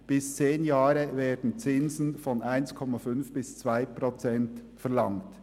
Für Laufzeiten bis zu zehn Jahren werden Zinsen von 1,5 bis 2,0 Prozent verlangt.